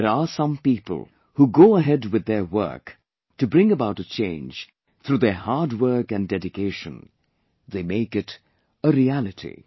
But there are some people who go ahead with their work, to bring about a change through their hard work and dedication; they make it a reality